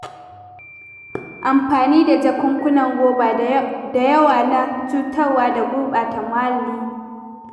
Amfani da jakunkunan roba da yawa na cutarwa da gurɓata muhalli.